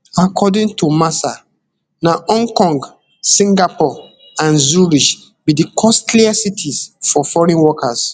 according to mercer na hong kong singapore and zurich be di costliest cities for foreign workers